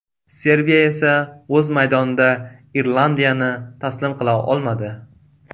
Serbiya esa o‘z maydonida Irlandiyani taslim qila olmadi.